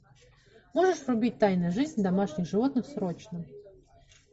можешь врубить тайная жизнь домашних животных срочно